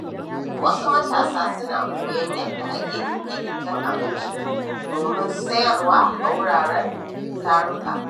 Wasu matasa suna koyon yadda ake girke-girke na abinci domin sayarwa a wuraren taruka.